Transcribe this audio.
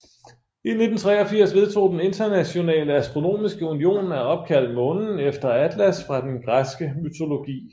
I 1983 vedtog den Internationale Astronomiske Union at opkalde månen efter Atlas fra den græske mytologi